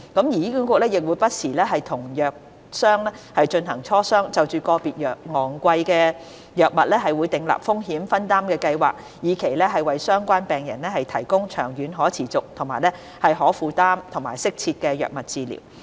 醫管局亦會不時與藥商進行磋商，就個別昂貴藥物訂立風險分擔計劃，以期為相關病人提供長遠可持續、可負擔和適切的藥物治療。